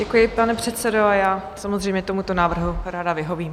Děkuji, pane předsedo, a já samozřejmě tomuto návrhu ráda vyhovím.